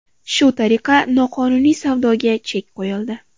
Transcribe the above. Shu tariqa noqonuniy savdoga chek qo‘yildi.